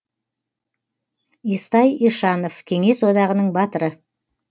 естай ишанов кеңес одағының батыры